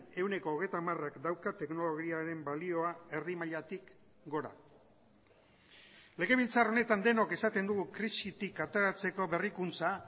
ehuneko hogeita hamarak dauka teknologiaren balioa erdi mailatik gora legebiltzar honetan denok esaten dugu krisitik ateratzeko berrikuntza